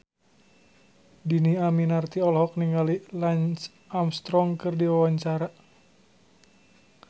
Dhini Aminarti olohok ningali Lance Armstrong keur diwawancara